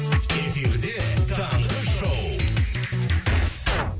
эфирде таңғы шоу